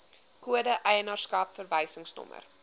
kode eienaarskap verwysingsnommer